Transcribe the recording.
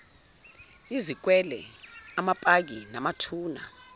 izikwele amapaki namathuna